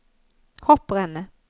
hopprennet